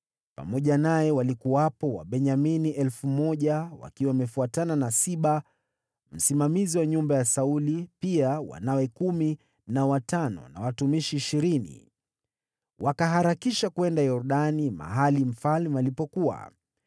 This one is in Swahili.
Pamoja naye walikuwepo Wabenyamini elfu moja wakiwa wamefuatana na Siba, msimamizi wa nyumba ya Sauli, pia wanawe kumi na watano, na watumishi ishirini. Wakaharakisha kwenda Yordani, mahali mfalme alipokuwa.